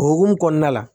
O hokumu kɔnɔna la